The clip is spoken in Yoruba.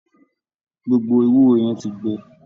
Gbogbo ewúro yẹn ti gbẹ.